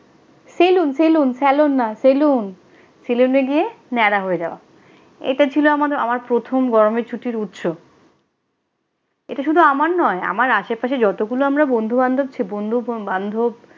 Salon saloon salon না saloon সেলুনে গিয়ে ন্যাড়া হয়ে যাওয়া এটা ছিল আমাদের আমার প্রথম গরমের ছুটির উৎস এটা শুধু আমার নই আমার আশেপাশে যতগুলো আমারা বন্ধু-বান্ধব ছি বন্ধু বান্ধব।